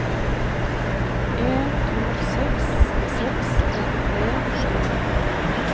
en to seks seks trettitre sju hundre og to